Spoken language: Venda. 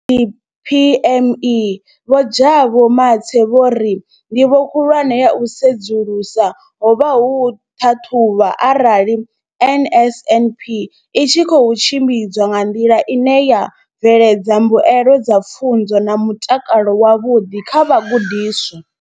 Kha DPME, Vho Jabu Mathe, vho ri ndivho khulwane ya u sedzulusa ho vha u ṱhaṱhuvha arali NSNP i tshi khou tshimbidzwa nga nḓila ine ya bveledza mbuelo dza pfunzo na mutakalo wavhuḓi kha vhagudiswa.